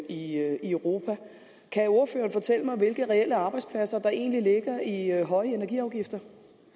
i europa kan ordføreren fortælle mig hvilke reelle arbejdspladser der egentlig ligger i høje energiafgifter